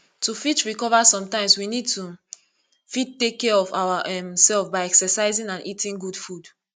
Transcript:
to fit recover sometimes we need to fit take care of our um self by exercising and eating good food